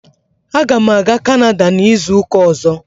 Aga m aga Kanada n'izu ụka ọzọ.